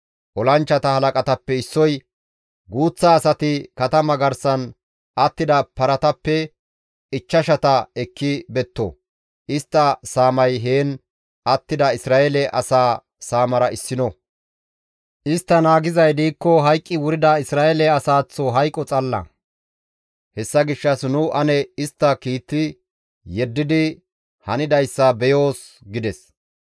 Olanchchata halaqatappe issoy, «Guuththa asati katama garsan attida paratappe ichchashata ekki betto; istta saamay heen attida Isra7eele asaa saamara issino; istti naagizay diikko hayqqi wurida Isra7eele asaaththo hayqo xalla, hessa gishshas nu ane istta kiitti yeddidi hanidayssa beyoos» gides.